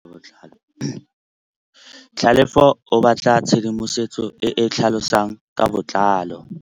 Tlhalefô o batla tshedimosetsô e e tlhalosang ka botlalô.